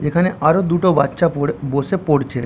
যেখানে আরো দুটো বাচ্চা পড়ে বসে পড়ছে।